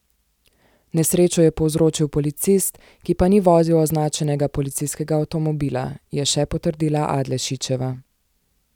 Nesrečo je povzročil policist, ki pa ni vozil označenega policijskega avtomobila, je še potrdila Adlešičeva.